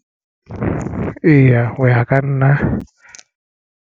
Eya, ho ya ka nna.